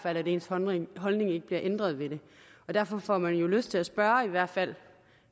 at ens holdning holdning ikke bliver ændret ved det og derfor får man jo lyst til at spørge i hvert fald